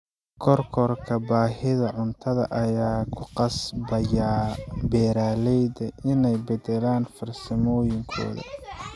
Kororka baahida cuntada ayaa ku qasbaya beeraleyda inay beddelaan farsamooyinkooda.